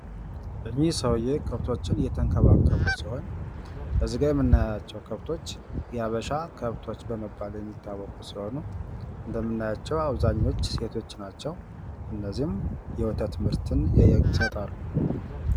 እኒህ ሰውዬ ከብቶችን እየተንከባከቡ ሲሆን ከዚህ ጋ የምናያቸው ከብቶች የሀበሻ ከብቶች በመባል የሚታዎቁ ሲሆኑ እንደምናያቸው አብዛኞቹ ሴቶች ናቸው። እነዘህም የወተት ምርትን ይሰጣሉ።